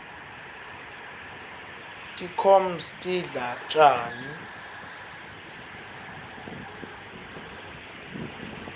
tinkhoms tidla tjani